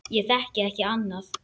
Ég þekki ekki annað.